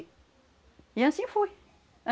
E assim foi.